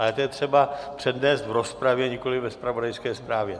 Ale to je třeba přednést v rozpravě, nikoliv ve zpravodajské zprávě.